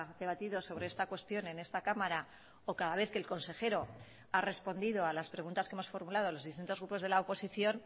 debatido sobre esta cuestión en esta cámara o cada vez que el consejero ha respondido a las preguntas que hemos formulado los distintos grupos de la oposición